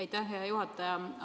Aitäh, hea juhataja!